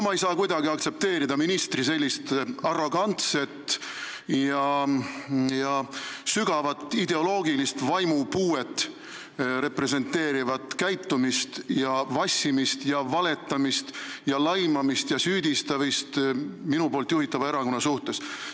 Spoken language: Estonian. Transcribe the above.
Ma ei saa kuidagi aktsepteerida ministri sellist arrogantset ja sügavat ideoloogilist vaimupuuet representeerivat käitumist, vassimist ja valetamist, minu juhitava erakonna laimamist ja süüdistamist.